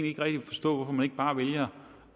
ikke rigtig forstå hvorfor man ikke bare vælger